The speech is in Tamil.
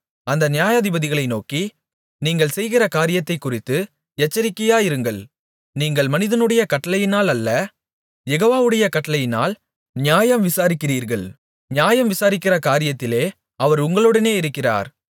அந்த நியாயாதிபதிகளை நோக்கி நீங்கள் செய்கிற காரியத்தைக் குறித்து எச்சரிக்கையாயிருங்கள் நீங்கள் மனிதனுடைய கட்டளையினால் அல்ல யெகோவாவுடைய கட்டளையினால் நியாயம் விசாரிக்கிறீர்கள் நியாயம் விசாரிக்கிற காரியத்திலே அவர் உங்களுடனே இருக்கிறார்